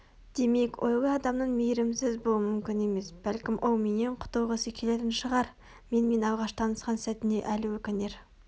демек ойлы адамның мейірімсіз болуы мүмкін емес бәлкім ол менен құтылғысы келетін шығар менімен алғаш танысқан сәтіне әлі өкінер